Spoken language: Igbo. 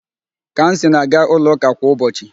Kamsi na-aga ụlọ ụka kwa ụbọchị